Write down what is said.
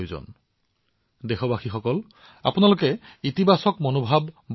কৰোনাৰ বিৰুদ্ধে যুঁজিবলৈ ইতিবাচক মনোভাৱ অতি গুৰুত্বপূৰ্ণ আৰু দেশবাসীয়ে ইয়াক বজাই ৰাখিব লাগিব